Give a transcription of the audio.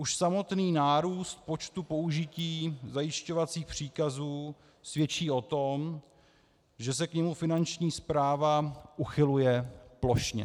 Už samotný nárůst počtu použití zajišťovacích příkazů svědčí o tom, že se k němu Finanční správa uchyluje plošně.